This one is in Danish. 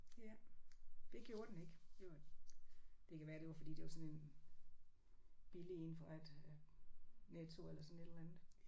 Ja. Det gjorde den ikke det var det kan være det var fordi det var sådan en billig en fra et Netto eller sådan et eller andet